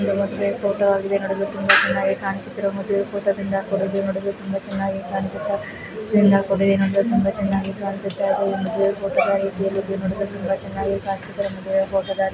ಮದುವೇ photo ಆಗಿದೆ ನೋಡಲು ತುಂಬಾ ಚೆನ್ನಾಗಿ ಕಾಣಿಸುತ್ತಿರುವ ಮದುವೆ ಫೋಟೋದಿಂದ ಕೂಡಿದ್ದು ನೋಡಲು ತುಂಬಾ ಚೆನ್ನಾಗಿ ಕಾಣಿಸುತ್ತಾ ಇಂದ ಕೂಡಿದೆ ಇದೊಂದು ತುಂಬಾ ಚೆನ್ನಾಗಿ ಕಾಣಿಸುತ್ತಿದೆ. ಮದುವೆ ಫೋಟೋದ ರೀತಿಯಲ್ಲಿದ್ದು ನೋಡಲು ತುಂಬಾ ಚೆನ್ನಾಗಿ ಕಾಣಿಸುತ್ತದೆ. ಮದುವೇ ಫೋಟೋದ ರೀತಿಯಲ್ಲಿದ್ದು--